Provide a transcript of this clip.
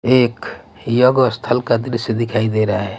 ये एक योग स्थल का दृश्य दिखाई दे रहा है.